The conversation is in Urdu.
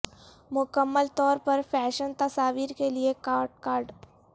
مکمل طور پر فیشن تصاویر کے لئے کارڈ کارڈ